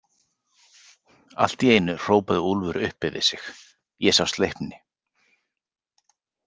Allt í einu hrópaði Úlfur upp yfir sig: Ég sá Sleipni.